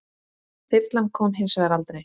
Þyrlan kom hins vegar aldrei.